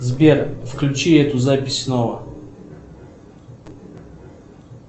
сбер включи эту запись снова